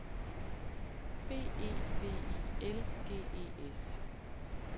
B E V I L G E S